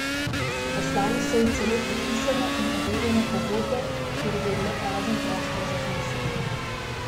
Poslali so ji celo podpisano in overjeno pogodbo, kjer je bil le prazen prostor za znesek.